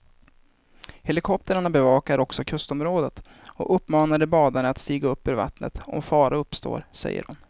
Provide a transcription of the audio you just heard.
Helikoptrarna bevakar också kustområdet och uppmanar de badande att stiga upp ur vattnet om fara uppstår, säger hon.